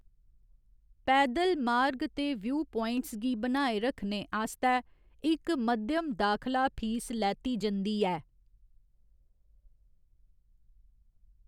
पैदल मार्ग ते व्यूपाइंट्स गी बनाए रक्खने आस्तै इक मध्यम दाखला फीस लैती जंदी ऐ।